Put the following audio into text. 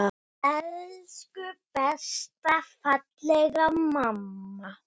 Elsku besta, fallega mamma.